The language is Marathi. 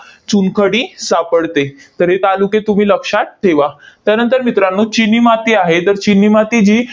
चुनखडी सापडते. तर हे तालुके तुम्ही लक्षात ठेवा. त्यानंतर मित्रांनो, चिनी माती आहे. तर चिनी माती ही